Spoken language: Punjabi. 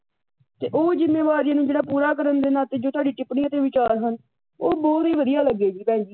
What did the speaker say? ਤੇ ਉਹ ਜਿੰਮੇਵਾਰੀਆਂ ਨੂੰ ਜਿਹੜਾ ਪੂਰਾ ਕਰਨ ਦੇ ਨਾਤੇ ਜੋ ਤੁਹਾਡੀ ਟਿੱਪਣੀ ਅਤੇ ਵਿਚਾਰ ਹਨ ਉਹ ਬਹੁਤ ਹੀ ਵਧੀਆ ਲੱਗੇ ਜੀ ਭੈਣ ਜੀ